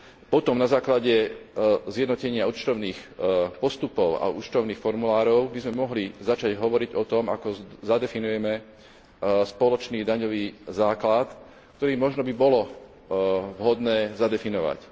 Potom na základe zjednotenia účtovných postupov a účtovných formulárov by sme mohli začať hovoriť o tom, ako zadefinujeme spoločný daňový základ, ktorý by možno bolo vhodné zadefinovať.